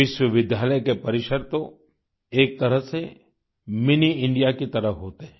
विश्वविद्यालय के परिसर तो एक तरह से मिनी इंडिया की तरह होते हैं